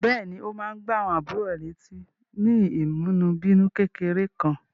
Bẹ́ẹ̀ní, ó máa ń gbá àwọn àbúrò rẹ̀ létí ní ìmúnibínú kékeré Kankan.